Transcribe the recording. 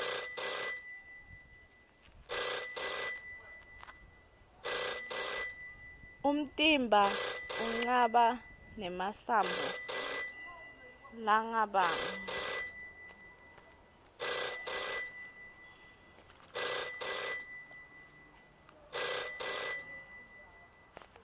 umtimba unqaba nemasambo largabamgu